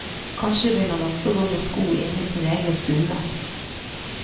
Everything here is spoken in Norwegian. Kanskje vil han også gå med sko inne i sin egen stue.